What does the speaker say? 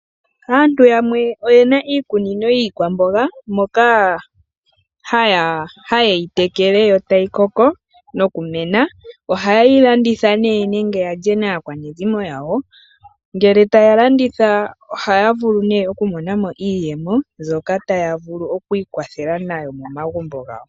Aantu yamwe oye na iikunino yiikwamboga moka haye yi tekele yo tayi koko nokumena. Ohaye yi landitha nee nenge ya lye naakwanezimo yawo. Ngele taa landitha ohaa vulu okumona mo iiyemo mbyoka taya vulu okwiikwathela nayo momagumbo gawo.